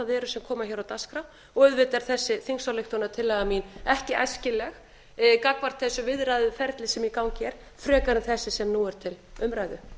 eru sem koma hér á dagskrá og auðvitað er þessi þingsályktunartillaga mín ekki æskileg gagnvart þessu viðræðuferli sem í gangi er frekar en þessi sem nú er til umræðu